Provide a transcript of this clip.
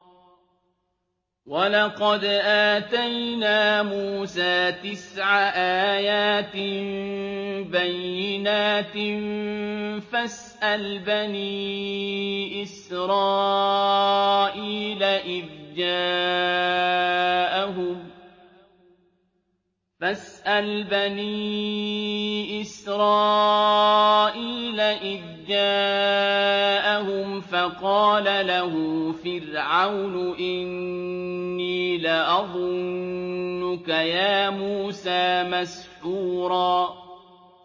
وَلَقَدْ آتَيْنَا مُوسَىٰ تِسْعَ آيَاتٍ بَيِّنَاتٍ ۖ فَاسْأَلْ بَنِي إِسْرَائِيلَ إِذْ جَاءَهُمْ فَقَالَ لَهُ فِرْعَوْنُ إِنِّي لَأَظُنُّكَ يَا مُوسَىٰ مَسْحُورًا